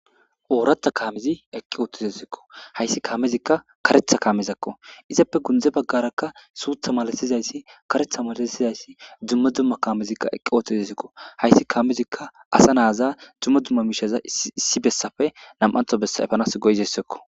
ooratha kaamizi eqqi oottizasikko hayssi kaamezikka karetha kaamezakko izappe gundze baggarakka suutha malatizayssi karetha malasizayssi dumma dumma kaamezikka eqqi ootozasikko hayssi kaamezikka asa naaza dumma dumma miishaza issi bessafe nam7antho essaefanas goyizassekko